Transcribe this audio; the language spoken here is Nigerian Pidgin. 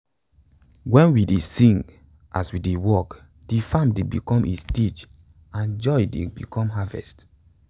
wen we dey sing as we dey work de farm dey become a stage and joy dey become harvest